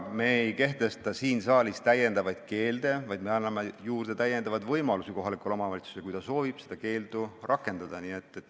Aga me ei kehtesta siin saalis lisakeelde, vaid me anname juurde lisavõimalusi kohalikule omavalitsusele, kui ta soovib seda keeldu rakendada.